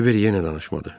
Kiber yenə danışmadı.